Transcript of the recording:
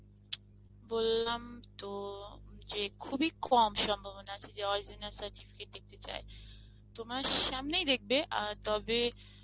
বললাম তো যে খুব এ কম সম্ভবনা আছে যে original certificate দেখতে চায়, তোমার সামনেই দেখবে অ্যাঁ তবে